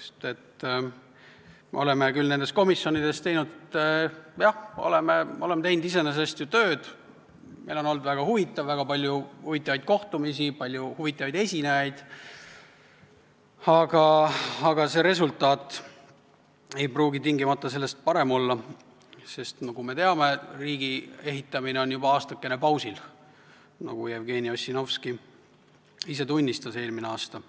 sest me oleme küll nendes komisjonides ju tööd teinud, meil on olnud väga huvitav, väga palju huvitavaid kohtumisi on olnud ja palju huvitavaid esinejaid, aga resultaat ei pruugi tingimata selle tõttu parem olla, sest nagu me teame, riigi ehitamine on juba aastakese pausil olnud, nagu Jevgeni Ossinovski eelmine aasta tunnistas.